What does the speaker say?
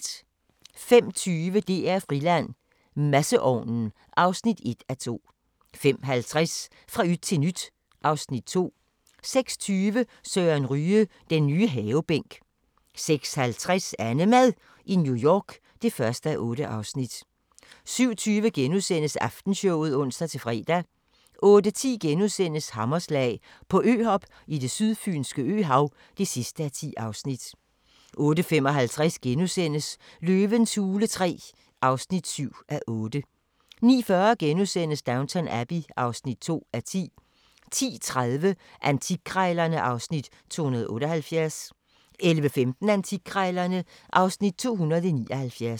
05:20: DR-Friland: Masseovnen (1:2) 05:50: Fra yt til nyt (Afs. 2) 06:20: Søren Ryge – den nye havebænk 06:50: AnneMad i New York (1:8) 07:20: Aftenshowet *(ons-fre) 08:10: Hammerslag - på øhop i det sydfynske øhav (10:10)* 08:55: Løvens hule III (7:8)* 09:40: Downton Abbey (2:10)* 10:30: Antikkrejlerne (Afs. 278) 11:15: Antikkrejlerne (Afs. 279)